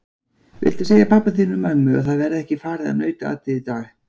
Viltu segja pabba þínum og mömmu að það verði ekki farið á nautaatið í dag!